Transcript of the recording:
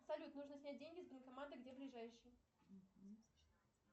салют нужно снять деньги с банкомата где ближайший